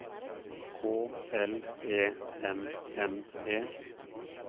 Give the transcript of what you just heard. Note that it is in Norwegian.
K L E M M E